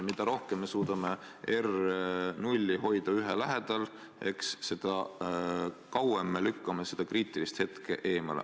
Mida rohkem me suudame R0 hoida 1 lähedal, seda kauem me lükkame seda kriitilist hetke edasi.